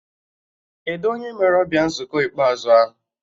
Kedụ onye mere ọbịa nzukọ ikpeazụ ahụ?